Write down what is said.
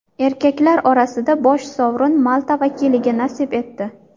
Erkaklar orasida bosh sovrin Malta vakiliga nasib etdi.